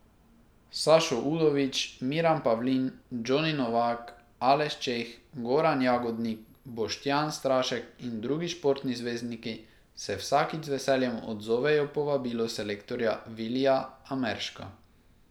Sašo Udovič, Miran Pavlin, Džoni Novak, Aleš Čeh, Goran Jagodnik, Boštjan Strašek in drugi športni zvezdniki se vsakič z veseljem odzovejo povabilu selektorja Vilija Amerška.